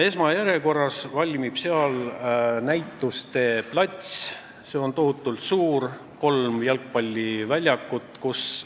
Esmajärjekorras valmib seal näituste plats, mis on tohutult suur, kolme jalgpalliväljaku suurune.